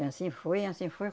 E anssim foi, e anssim foi.